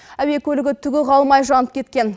әуе көлігі түгі қалмай жанып кеткен